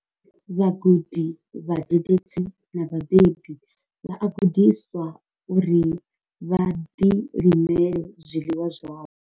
Vhagudi, vhadededzi na vhabebi vha a gudiswa uri vha ḓilimele zwiḽiwa zwavho.